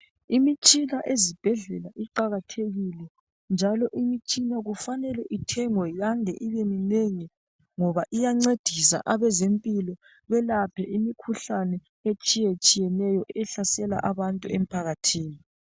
Imitshina ezibhedlela iqakathekile njalo Imitshina kufanele ithengwe yande ngoba iyancedisa abezempilo belaphe imikhuhlane etshiyetshiyeneyo ehlasela abantu emphakathini.